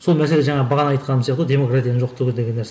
сол мәселе жаңа бағана айтқаным сияқты ғой демократияның жоқтығы деген нәрсе